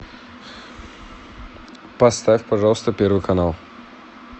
поставь пожалуйста первый канал